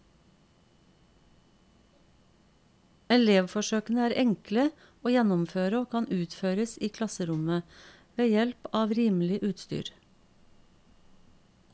Elevforsøkene er enkle å gjennomføre og kan utføres i klasserommet, ved hjelp av rimelig utstyr.